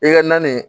I ka nani